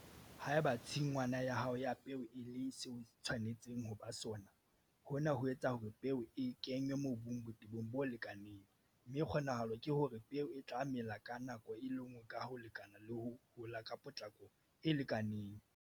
Haeba tshingwana ya hao ya peo e le seo e tshwanetseng ho ba sona, hona ho etsa hore peo e kenngwe mobung botebong bo lekanang, mme kgonahalo ke hore peo e tla mela ka nako e le nngwe ka ho lekana le ho hola ka potlako e lekanang.